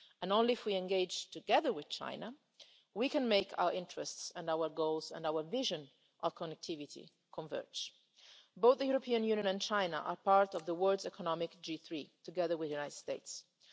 Only if we engage together with China can we make our interests, our goals, our vision and our connectivity converge. Both the European Union and China are part of the world's economic G3, together with the